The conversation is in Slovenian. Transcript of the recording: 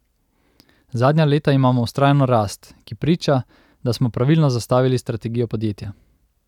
Zadnja leta imamo vztrajno rast, ki priča, da smo pravilno zastavili strategijo podjetja.